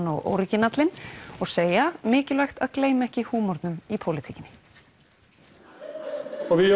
og orginalinn og segja mikilvægt að gleyma ekki húmornum í pólitíkinni og við